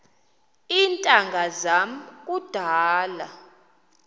iintanga zam kudala